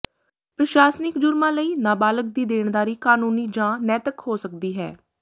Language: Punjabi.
ਪ੍ਰਸ਼ਾਸਨਿਕ ਜੁਰਮਾਂ ਲਈ ਨਾਬਾਲਗ ਦੀ ਦੇਣਦਾਰੀ ਕਾਨੂੰਨੀ ਜਾਂ ਨੈਤਿਕ ਹੋ ਸਕਦੀ ਹੈ